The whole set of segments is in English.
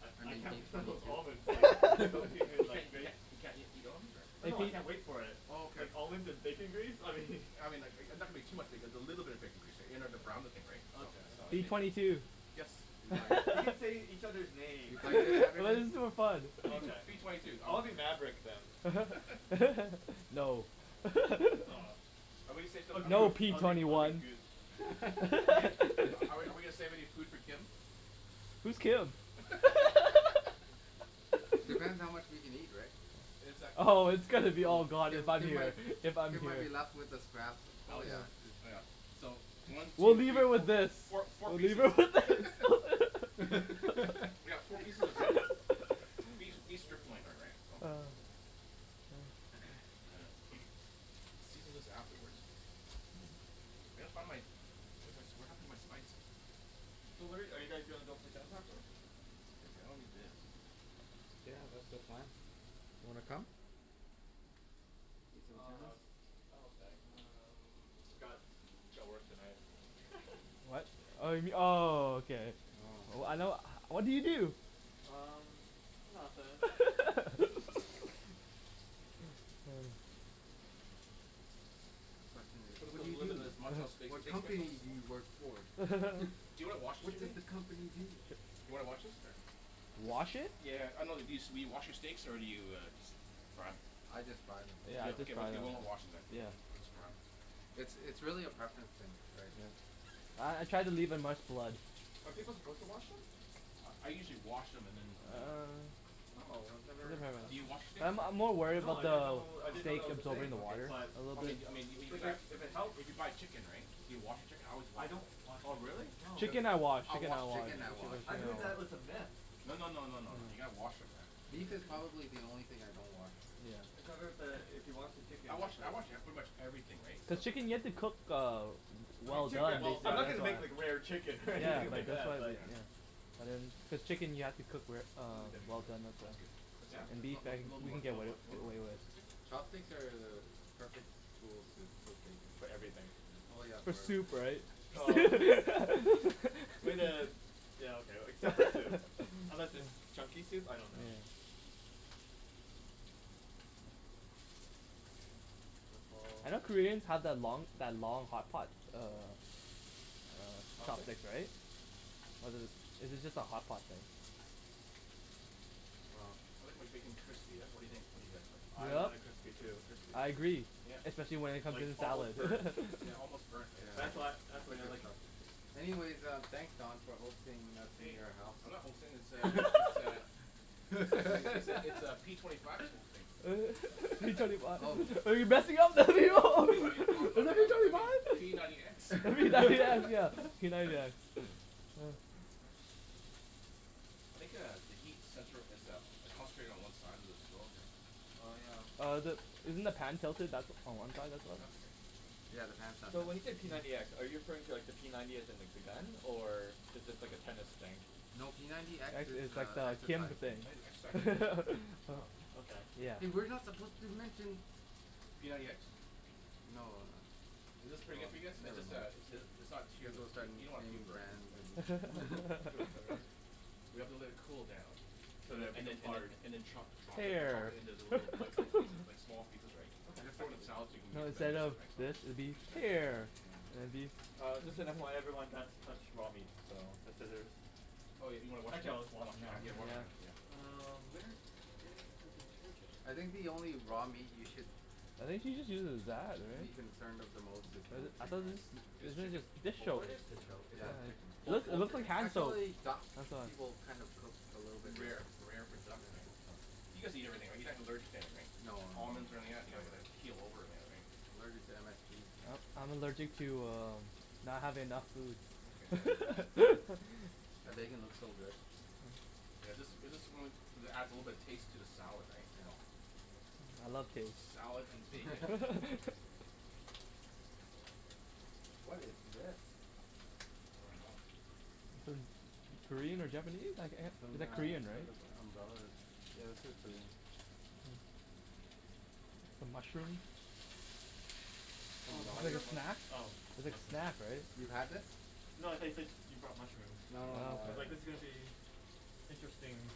I I I mean can't P wait for twenty those two. almonds like soak your hand You like can't you can't you can't eat eat almonds, or? Oh no I can't wait for it. Oh, okay. Like almonds and bacon grease, I mean I mean like, and that would be too much because a little bit of bacon grease there, you know, to brown the thing, right. So, Okay, P whatever. if it twenty two. Yes? Are you playing? You can say each other's names. That is too fun. Okay. P twenty two. I'll be Maverick then. No. Aw. Are Or we No, Goose. P I'll gonna take twenty I'll say take one. Goose. something? Are we are we gonna save any food for Kim? Who's Kim? Depends how much we can eat, right? Oh, it's gonna be all gone Kim if I'm Kim here, might if I'm Kim might here. be left with the scraps. Oh, yeah. Dude. Oh yeah. So, one, two, We'll three, leave her with fo- this. four four We'll leave pieces her with this. We got four pieces of tender beef beef strip loin though, right? So. Then sear this afterwards. I gotta find my, where's my, what happened to my spices? So where are you guys gonna go play tennis this afternoon? I don't need this. Yeah, that's the plan. Wanna come? Play some Oh no, tennis. I'm okay. I got Um. work tonight What? Oh you m- oh, okay. Oh. I know what do you do? Um, nothing. There you go. The question is Put a put "What do a you little bit do? of this Montreal steak What steak spice on company this do you work for?" Do you wanna wash it "What for does me? the company do?" Do you wanna wash this or? Wash it? Yeah. I know it used to be, do you wash your steaks or do you just fry 'em? I just fry them. Yeah. Okay, okay, we're not washing then. Yeah. Just fry 'em. It's it's really a preference thing, right. Uh I try to leave in much blood. Are people supposed to wash them? I I usually wash them and then and then Uh Oh, I've never Do you wash steaks Uh I'm I'm or? more worried No. about I didn't the know I didn't know steak that was a absorbing thing. the Okay. water. But I mean, I mean, if you if buy, it if it helps if you buy chicken, right? Do you wash your chicken? I always I wash don't wash the Oh, really? chicken. No. Chicken I wash, I chicken wash I wash. chicken. Chicken Yeah. I wash I've for heard sure. that was a myth. No no no no. You gotta wash 'em, man. Beef is probably the only thing I don't wash. Cuz Yeah. I've heard that if you wash the chicken I wash I wash, yeah, pretty much everything, right, so The chicken you have to cook uh I mean well chicken, done. Well I'm not done. gonna make like rare chicken Yeah, like that's why I was like, yeah But chicken you have to cook wer- uh well done as well. That's good. Yeah? No, no. A little Little more, more. little more. Chopsticks are the perfect tool to cook bacon. For everything. Oh yeah. For soup, right? Way to, yeah okay, except for soup. Unless it's chunky soup, I don't know. Yeah. I know Koreans have that long that long hot pot, uh Chopstick, Chopstick? right? Was it, is it just a hot pot thing? I like my bacon crispy, yeah? What do you think? What do you guys think? I want it crispy too. I agree. Especially when it comes to Like the almost salad. burnt. Yeah, almost burnt, right, That's so what, that's the way I like it. Anyways, um, thanks Don for hosting us in Hey, your house. I'm not hosting this uh, this uh It's like, it's it's it's uh p twenty five who's hosting. P twenty five Oh. I mean, oh no, I mean, I me- I mean, p ninety x P ninety x, yeah, p ninety x. I think uh, the heat center is uh, concentrated one side of the stove here. Oh yeah. Uh the, isn't the pan tilted back on one side as Yeah, well? that's okay. Yeah, the pan's not So when tilted. you say p ninety x, are you referring to like the p ninety as in like the gun? Or is this like a tennis thing? No, p ninety x X is is like uh the Kim exercising I need an exercise thing. Oh, okay. Yeah. Hey, we're not supposed to mention P ninety x? No. Is Oh this pretty good well, for you guys? It's never just uh mind. it's it's not too, You guys both started you don't wanna too naming burnt, brands and that's the thing. We have to let it cool down. And then and then and then, chop chop it chop Hair it into little bite size pieces, like small pieces, right. You Okay. gotta I throw it in can the do salad, so we that. can No, mix and instead mix it, of right, so this, it'd be Mkay. hair. And it'd be Uh just an FYI everyone, that's touched raw meat. So, consider Oh, you you wanna wash Actually your I'll hand? wash them now. Yeah. Wash your hands, yeah. Um where is the detergent? I think the only raw meat you should It think she just uses that, be right? concerned of the most is But I poultry, thought right. This chicken? dish soap Is it Yeah, what? of chicken. It Poul- looks it poultry, looks like right? hand soap, Actually, I duck, thought. people kind of cook a little bit Rare, rare. rare for duck, Yeah. right? You guys eat everything, right? You're not allergic to anything? No no no Almonds or any no. of that? You're not gonna keel over or any of that, right? I'm allergic to MSG. Uh I'm allergic to uh not having enough Okay. food That bacon looks so good. Yeah. This, is this the one that adds a little bit of taste to the salad, right? So Yeah. I love taste. Salad and bacon. What is this? I dunno. Sort of Korean or Japanese It's like, some it's uh like sort Korean, right? of umbrella that's, yeah, this is Korean. Some mushrooms? Some kind of snack? It's a snack, right? You've had this? No, I said I said you brought mushrooms. No no I no was like, this is gonna be interesting.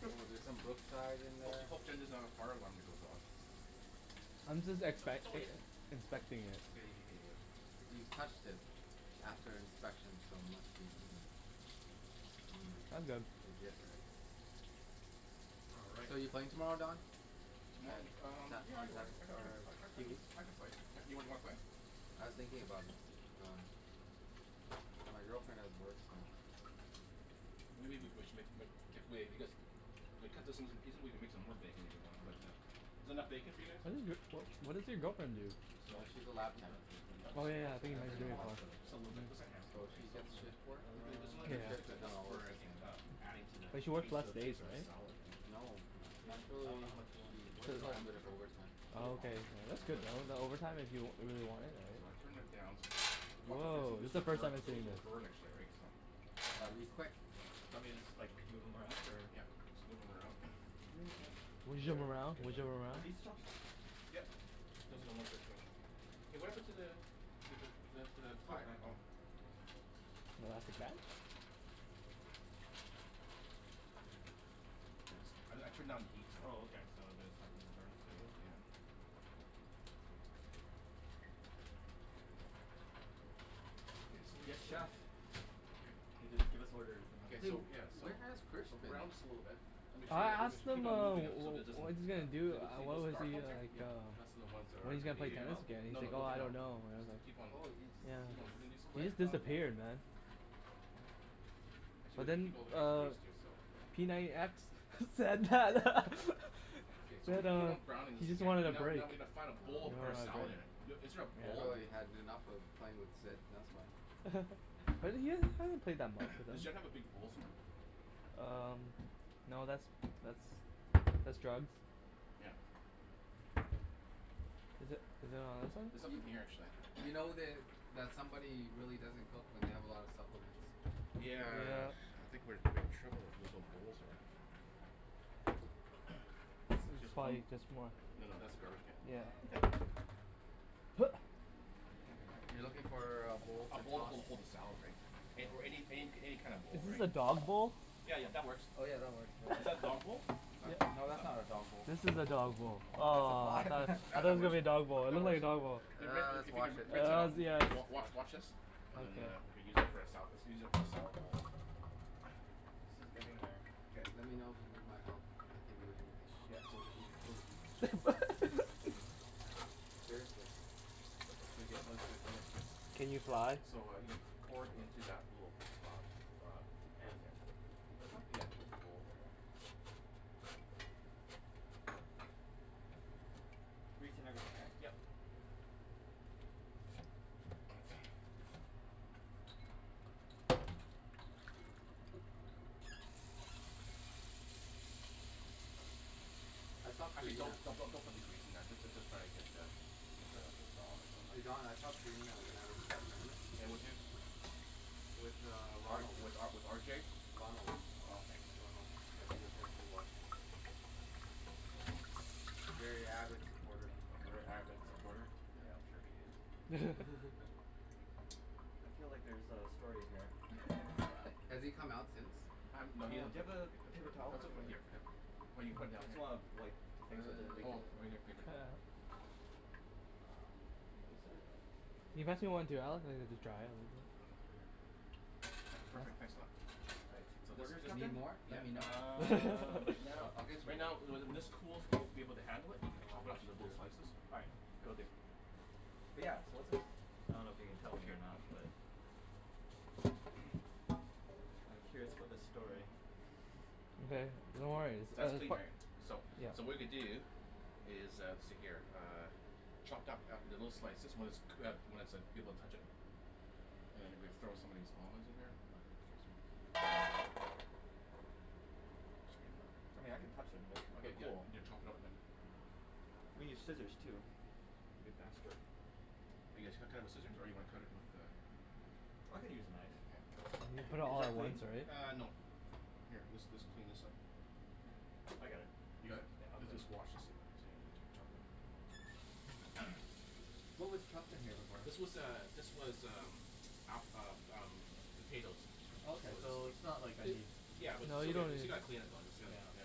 Oh, there's some Brookside in Hope there. t- hope Jen doesn't have a fire alarm that goes off. I'm just expect- like inspecting it. You've touched it after inspection so unless you eat 'em I'm Mm, good. legit, right? All right. So, you playing tomorrow, Don? Tomo- um yeah I I can I can Or I can I c- Huey? I can play, yeah. You wanna play? I was thinking about it, but uh. My girlfriend has work so Maybe we c- we sh- if we cut this into the pieces, we can make some more bacon, if you want? But uh is that enough bacon for you guys? What does your wh- what does your girlfriend do? So, So, we she's a lab can tech. put the nuts Oh yeah It's open in for you, how much? hospital. Just a little bit. Just a handful, So right. she So gets shift Um work. Her shift is not always the same. adding to the But she works tas- to less the days, taste of the right? salad, right? No. Do you want, I dunno know Actually, how much you want. she works These are quite a alm- bit these of are overtime. Oh whole okay. almonds right? That's good though. Is that overtime if you if you really wanted? So I turned it down. So watch out for this one Woah, this it's the one's first time burnt, I'm this seeing one will this. burn actually right so I'll be quick. Want me to just like, move them around, or? Yep. Just move 'em around. There you go. Bouge Shit. them It's around. good Bouge enough. them Are around. these chopsticks? Yep. Okay. Hey what happened to the the the the the the fire, oh. No elastic band? Thanks. I I turned down the heat so Oh okay. So that's not gonna burn Yeah yeah. Okay so we Yes get to chef. K. Give us orders and Ok then So so yeah, so where has Chris so been? brown this a little bit. Make Okay. sure I you, you asked ma- keep him on uh moving them wh- so it wh- doesn't, what he's gonna do, you don't see uh those what was dark the ones uh, here? like Yep. uh That's all the ones that are when he's gonna gonna play be Take them uh. tennis out? again and he's No no, like don't "Oh take I them out. don't know. I Just don't know." keep on Oh he just, keep he on just moving these Yeah. ones He here. quit? just Oh. disappeared man. Actually we But could then keep all the bacon uh grease too, so. p ninety x said that Okay so we said keep uh on browning he this just again, wanted a now break. now we need to find a bowl No to put our salad idea. in. Is there a bowl? Probably had enough of playing with Sid. That's why. But then you you haven't played that much with Does him. Jen have a big bowl somewhere? Um, no, that's that's that's drugs. Yeah. Is that is that on There's this one? Y- nothing here actually. you know that, that somebody really doesn't cook when they have a lot of supplements. Yeah. Yeah. I think we're having trouble with where the bowls are at. This is Just white, fine, just more. no no, that's a garbage Yeah. can. You're looking for uh a bowl A to bowl to toss hold hold the hold the salad right, or any any any kind of Is bowl this right. a dog bowl? Yeah, yeah, that works. Oh yeah, that works. Is that a dog bowl? That's not a dog, No, that's that's not not a dog a bowl. This is a dog bowl. That's a Aw I pot. thought I thought That that that was gonna works. be a dog bowl, it That looked works. like a dog bowl. Hey Rick if Let's if you wash can it. rinse that out, Hells yes. wa- wa- wash wash this. And then uh re-use it for a sala- let's use it as a salad bowl. This is getting there. Okay. Let me know if you need my help. I can do anything. Yeah, well it would it would kill the heat. Yeah, seriously. It's pretty good. It looks good, it looks good. Can you fly? So, uh, you could pour it into that little uh uh pan This there. one? This one? Yeah. Little bowl there. Yep. Grease and everything, right? Yep. I saw Actually don't, Karina don't don't put the grease in there, just uh just try to get the get the Just Hey Don, I saw Karina when I went to that tournament. Yeah, with who? With uh R Ronald. with uh with R J? Ronald. Oh okay. Ronald, yeah he was there too watching. Very avid supporter. A very avid supporter? Yeah, I'm sure he is. I feel like there's a story here. Has he come out since? Um Uh no, do he doesn't you ta- have a paper towel, I Let's all can put it here Here, for now. here. Well you put it I down just here. wanna wipe the things Oh right here, paper towel. Thank you sir. Can you pass me one too Perfect, thanks a lot. Right, So what this is just just, Need happened? more? Let yeah, me know. uh, right now, I'll get you right more. now, when this when this cools and you'll be able to handle it. You can chop it up into little slices. Alright, cool dude. But yeah, so what's this? I don't know if you can tell me or not but I'm curious about this story. Okay, no worries. That's clean right. So, Yeah. so what we're gonna do is uh see here. Uh chopped up little slices when it's cook- when it's like, you be able to touch it, and then you gonna be- throw some of these almonds in here. I mean I can touch them, Okay. they're Yeah you need to chop it up now. We need scissors too. It'd be faster. You guys cu- cut it with scissors? Or you wanna cut it with uh I can use a knife. Yeah. Put it Is all that at clean? once, right? Uh, no. Here this this clean this up. Okay. I got it. You Yeah, got it? I'll clean Just just wash this thing. What was chopped in here before? This was uh this was um app- um um potatoes. Okay, So so just it's not like I need Yeah but No, still you got- don't still need gotta clean it though, it's gotta, Yeah. yeah,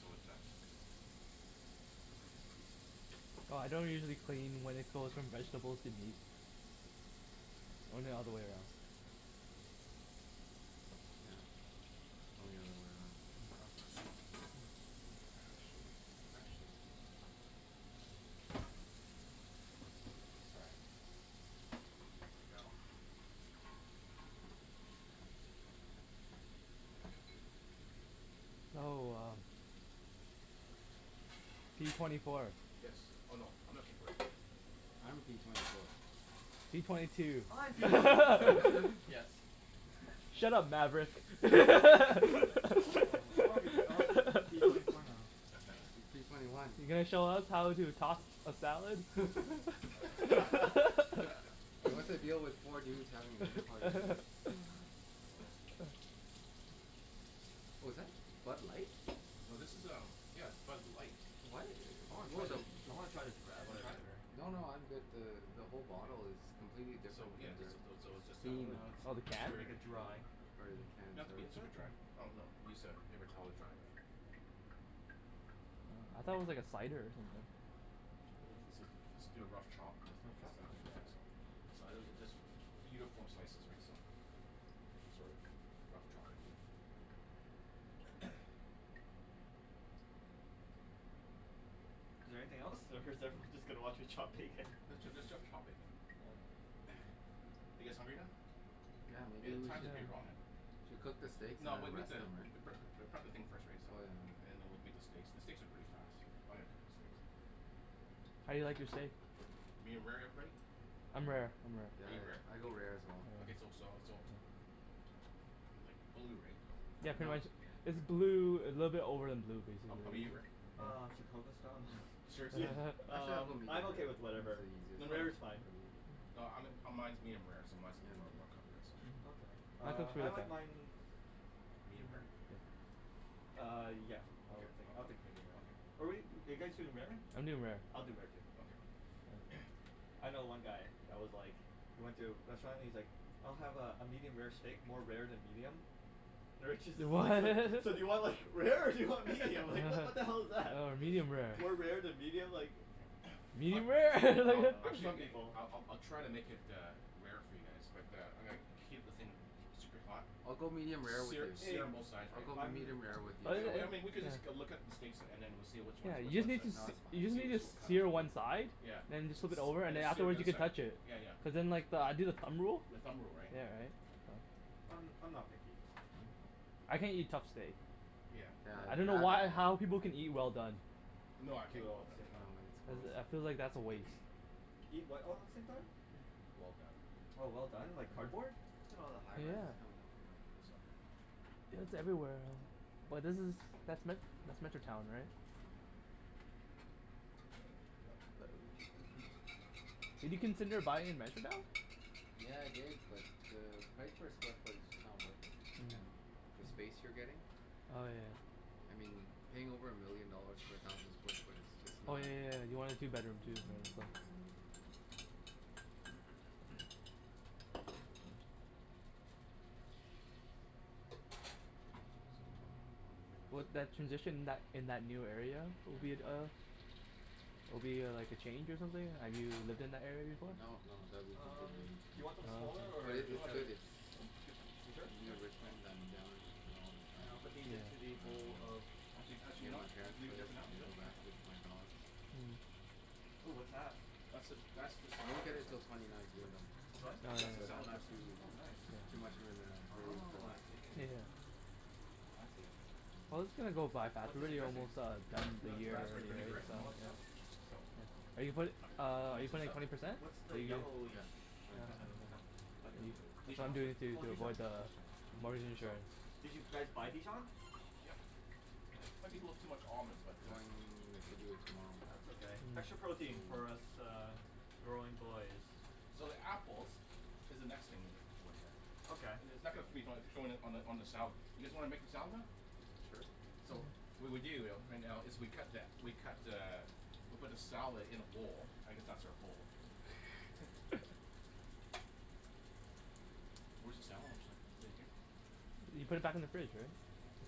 so it's not Well I don't usually clean when it goes from vegetables to meat. Only the other way around. Yeah. Only the other way around. Actually. Actually. Sorry. There we go. Oh uh p twenty four. Yes. Oh no. I'm not p twenty four. I'm p twenty four. P twenty two. I'm p twenty four. Yes. Shut up Maverick. Aw I wanna spea- I wanna speak with p twenty four now. P twenty one. You gonna show us how to toss a salad? And what's the deal with four dudes having a dinner party What was that? Bud Light? No this is um, yeah, Bud Light, What? I wanna try What the this the I wanna try this radler wanna try? later. No no, I'm good. The the whole bottle is completely So different yeah, than just, their those, so it's just a. theme. Uh Oh, the Make can? it's, sure. like a dry. Or their Doesn't can, have to sorry. be Is super it? dry. Oh no, use a paper towel to dry. I thought it was like a cider or something. Let's do a rough chop put this Rough into chop? stuff, yeah Okay. so. So I literally just Uniform slices right so. Sorta, rough chopping Is there anything else or is everyone just gonna watch me chop bacon? Let's ju- let's just chop bacon. Are you guys hungry now? Yeah, Hey maybe the we time's should pretty wrong uh. Should we cook the steaks No and we'll then make rest the, them pre- right? pre- prep the thing first right so Oh yeah, no no. and then we'll make the steaks, the steaks are pretty fast. I'm gonna cook the steaks. How do you like your steak? Medium rare, everybody? I'm rare. Are Yeah, you rare? I go rare as well. Okay so so so But like blue, right? Yeah pretty No. much, is blue, a little bit over than blue How how 'bout basically. you Rick? Uh Chicago style yeah, Seriously? Actually I'll um go I'm medium rare. okay with It's whatever, the easier No no, rare is fine. no, um mine mine is medium rare so mine's mine's gonna be more more cooked right so. Okay, uh I like mine Medium rare? Uh yeah, I'll take, I'll Okay. take medium rare. Okay. But wait, are you guys doing rare? I'm doing rare. I'll do rare too. Okay. I know one guy that was like, he went to a restaurant and he's like, "I'll have uh a medium rare steak, more rare than medium." The waitress is Oh like "So so do you want like rare, or do you want medium, like what the hell is that?" medium rare. More rare than medium, like Yeah. I Medium rare Oh I'll no, like actually some people I'll I'll try to make it uh rare for you guys but uh I'm gonna keep the thing keep super hot, I'll go medium rare with sear you, Hey, sear on both sides I'll right. go I'm medium rare with you I so w- I mean we could just go look up the steaks and then we'll see which Yeah, ones, which you just one's need that, to No, s- that's , you fine. just see need which to we'll cut. sear one side, Yeah. and then just flip it S- over and and then sear the afterwards other you can side. touch it, Yeah yeah. cuz then like I do the thumb rule. The thumb rule, right. Yeah right. I'm I'm not picky. I can't eat tough steak. Yeah. Yeah, I dunno why or how that people can eat well done. No, Do I can't it eat all well at the done. same No, time. it's gross. I I feel like that's a waste. Eat what all at the same time? Well done. Oh well done, like cardboard? Look at all the high rises Yeah. coming up. I'm gonna heat this up here. Yeah it's everywhere um But this is, that's Me- that's Metrotown right? Yeah. Yep. Did you consider buying in Metrotown? Yeah I did, but the price per square foot is just not worth it and the space you're getting, Oh yeah. I mean paying over a million dollars for a thousand square foot is just Oh not. yeah yeah yeah. Yeah. You wanted a two bedroom too. What, that, transition in that in that new area, would be Yeah. at uh Will be uh like a change or something? Have you lived in that area before? No, no, that'll be Um completely new to do me. you want Oh them smaller okay. But or it, is this No, it's that's good. good? good. It's Yeah? That's that's good size. Are you sure? near Yep. All right. Richmond. I'm down in Richmond all the And I'll time, put these into the um bowl of Actually actually, you Near know my what? I can parents' leave it there place. for I now. Yeah? can go back, Okay. visit my dogs. Ooh what's that? That's the, that's the salad Won't get it dressing. til twenty nineteen though, It's what? That's the but I'm salad not dressing. too Oh nice. too much of in a hurry for Oh, I that see. so Fancy. Well it's gonna go by fast, What's we're in the already dressing? almost uh done Yeah, the That year raspberry vinaigrette and all yeah. that stuff. So Are Oh. you put- We can uh are you mix this putting up. twenty percent? What's The the yellowish Yeah. Twenty kind percent. of, butter Dijon I'm mustard. doing or? it to Oh, to Dijon. avoid the Okay. the mortgage So insurance. Did you guys buy Dijon? Yep. Okay. Let people have too much almonds but I'm uh going to do it tomorrow. That's okay. Extra protein for us uh growing boys. So the apples is the next thing we need to Okay. I- it's not gonna on the on the salad. You guys wanna make the salad now? Sure. So, what we do though right now is we cut that, we cut the, we put the salad in a bowl. I guess that's our bowl. Where's the salad mixer? Is it here? You put it back in the fridge Rick. Okay.